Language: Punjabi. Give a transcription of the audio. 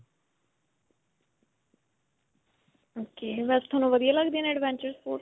ok. ਵੈਸੇ ਤੁਹਾਨੂੰ ਵਧੀਆ ਲਗਦੇ ਨੇ adventure sports?